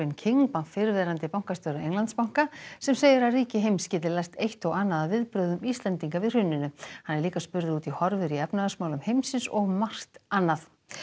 King fyrrverandi bankastjóra Englandsbanka sem segir að ríki heims geti lært eitt og annað af viðbrögðum Íslendinga við hruninu hann er líka spurður um horfur í efnahagsmálum heimsins og margt annað